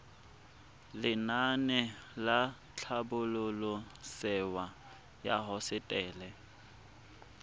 lenaane la tlhabololosewa ya hosetele